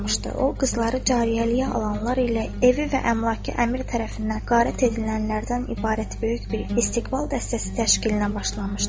O, qızları cariyəliyə alanlar ilə evi və əmlakı əmir tərəfindən qarət edilənlərdən ibarət böyük bir istiğbal dəstəsi təşkilinə başlamışdı.